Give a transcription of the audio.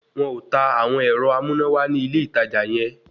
Wọn ò ta àwọn ẹ̀rọ amúnáwá ní ilé ìtajà yẹ